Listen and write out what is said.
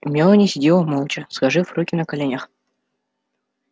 мелани сидела молча сложив руки на коленях